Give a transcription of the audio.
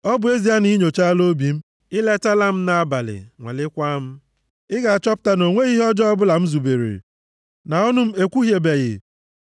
Ọ bụ ezie na ị nyochaala obi m, i letala m nʼabalị, nwalekwaa m, ị ga-achọpụta na o nweghị ihe ọ ọjọọ bụla m zubere, na ọnụ m ekwuhiebeghị.